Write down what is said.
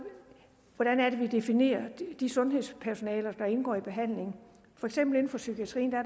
hvordan det er vi definerer de sundhedspersonaler der indgår i behandlingen for eksempel inden for psykiatrien